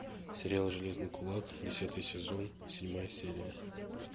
сериал железный кулак десятый сезон седьмая серия